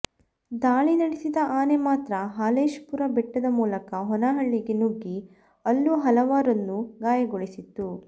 ದಾಳಿ ನಡೆಸಿದ ಆನೆ ಮಾತ್ರ ಹಾಲೇಶಪುರ ಬೆಟ್ಟದ ಮೂಲಕ ಹೊನ್ನಾಳಿಗೆ ನುಗ್ಗಿ ಅಲ್ಲೂ ಹಲವರನ್ನು ಗಾಯಗೊಳಿಸಿತ್ತು